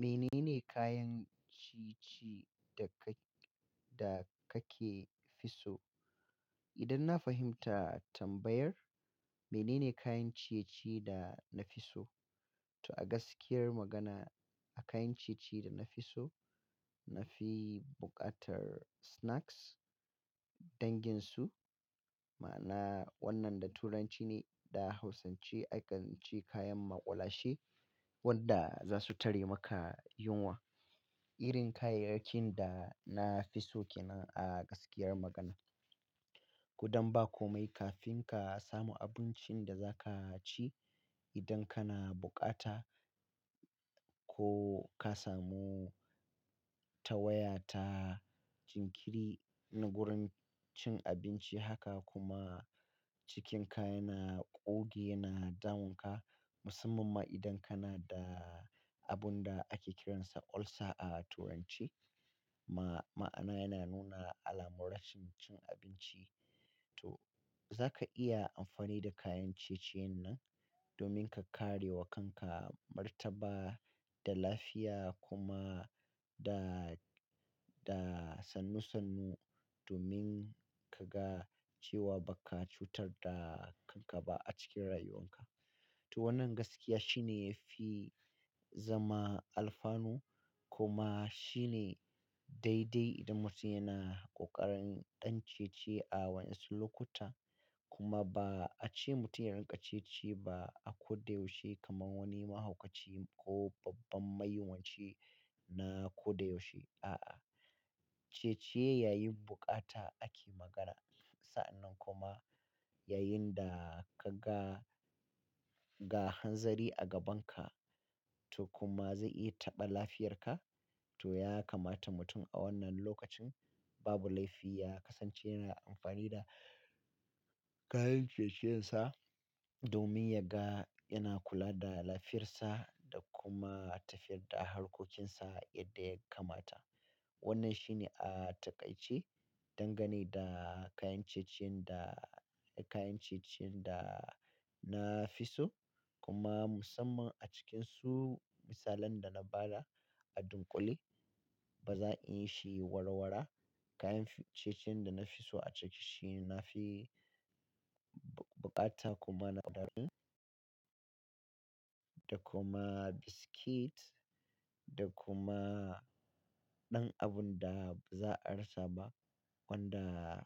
Mene ne kayan ciye-ciye da kake fi so? Idan na fahimta tambayar, mene ne kayan ciye-ciye da na fi so? To a gaskiyar magana a kayan ciye-ciye da na fi so, na fi buƙatar snacks danginsu ma'ana wannan da Turanci ne da hausance akan ce kayan maƙulashe wanda za su tare maka yunwa. Irin kayayyakin da na fi so kenan a gaskiyar magana. Ko dan ba komai kafin ka samu abincin da za ka ci idan kana bukata ko ka samu ta waya ta jinkiri na gurin cin abinci haka kuma cikinka yana ƙoge, yana damunka musamman ma idan kana da abun da ake kiransa ulcer a Turance ma'ana yana nuna alamun rashin cin abinci. Toh za ka iya amfani da kayan ciye-ciyen nan domin ka kare wa kanka martaba da lafiya kuma da, da sannu-sannu domin ka ga cewa ba ka cutar da kanka ba a cikin rayuwanka. Toh wannan gaskiya shine yafi zama alfanu kuma shine daidai idan mutum yana ƙoƙarin ɗan ciye-ciye a waɗansu lokuta kuma ba a ce mutum ya rinƙa ciye-ciye ba a ko da yaushe kamar wani mahaukaci ko babban mayunwaci na ko da yaushe. A'a, ciye-ciye yayin buƙata ake magana. Sa'annan kuma yayin da ka ga, ga hanzari a gabanka to kuma zai iya taɓa lafiyarka toh ya kamata mutum a wannan lokacin babu laifi ya kasance yana amfani da kayan ciye-ciyensa domin ya ga yana kula da lafiyarsa da kuma tafiyar da harkocinsa yadda ya kamata. Wannan shine a taƙaice dangane da kayan ciye-ciyen da, kayan ciye-ciyen da na fi so kuma musamman a cikin su misalan da na ba da a dunƙule ba za inya shi warwara. Kayan ciye-ciyen da na fi so a ciki shine na fi buƙata kuma na ƙaramin da kuma biscuit da kuma ɗan abun da ba za a rasa ba wanda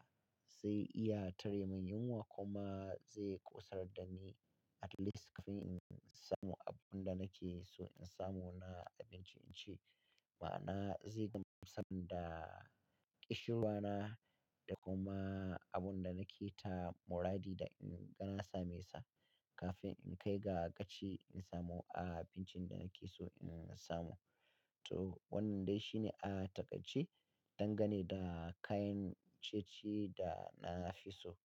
zai iya tare min yunwa kuma zai ƙosar da ni at least kafin in samu abun da nake so in samu na abinci in ci. Ma'ana zai gamsar da ƙishirwana da kuma abun da nake ta muradi da in ga na same sa kafin in kai ga gaci in samu abincin da nake so in samu. Toh wannan dai shine a taƙaice dangane da kayan ciye-ciye da na fi so.